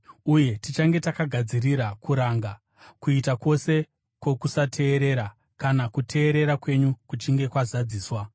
Uye tichange takagadzirira kuranga kuita kwose kwokusateerera, kana kuteerera kwenyu kuchinge kwazadziswa.